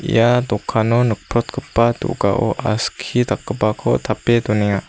ia dokano nikprotgipa do·gao aski dakgipako tape donenga.